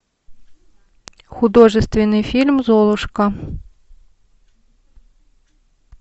художественный фильм золушка